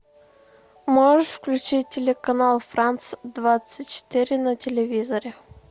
можешь включить телеканал франс двадцать четыре на телевизоре